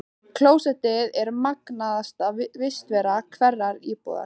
Klósettið er magnaðasta vistarvera hverrar íbúðar.